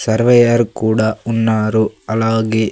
Surveyor కూడా ఉన్నారు అలాగే.